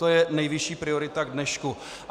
To je nejvyšší priorita k dnešku.